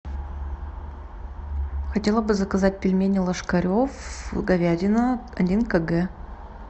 хотела бы заказать пельмени ложкарев говядина один кг